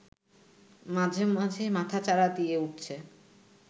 মাঝেমাঝেই মাথাচাড়া দিয়ে উঠছে